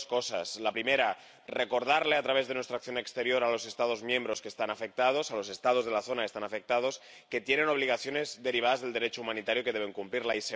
Dos cosas la primera, recordar, a través de nuestra acción exterior, a los Estados miembros que están afectados, a los Estados de la zona que están afectados, que tienen obligaciones derivadas del Derecho humanitario y que deben cumplirlas